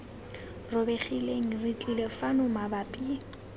robegileng re tlile fano mabapi